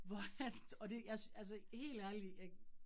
Hvor han, og det jeg altså helt ærligt jeg